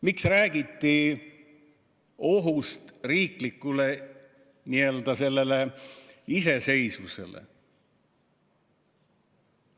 Miks räägiti ohust riigi iseseisvusele?